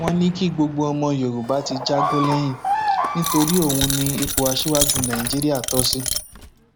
wọn ní kí gbogbo ọmọ yorùbá ti jagbon lẹyìn nítorí òun ni ipò aṣíwájú nàìjíríà tó sí